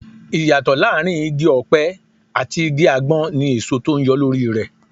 Ìyàtọ̀ láàárín Igi-ọpẹ àti igi àgbọn ní èso tó ń yọ lórí rẹ.